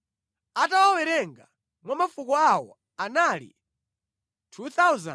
atawawerenga mwa mafuko awo, anali 2,750.